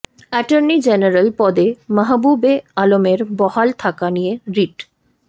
attorney general পদে মাহবুবে আলমের বহাল থাকা নিয়ে রিট